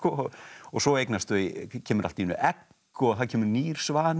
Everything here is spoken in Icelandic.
svo eignast þau kemur allt í einu egg og það kemur nýr svanur